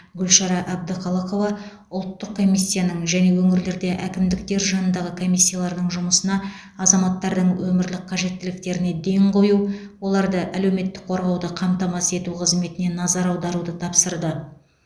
гүлшара әбдіқалықова ұлттық комиссияның және өңірлерде әкімдіктер жанындағы комиссиялардың жұмысына азаматтардың өмірлік қажеттіліктеріне ден қою оларды әлеуметтік қорғауды қамтамасыз ету қызметіне назар аударуды тапсырды